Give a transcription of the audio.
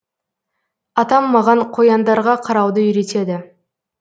атам маған қояндарға қарауды үйретеді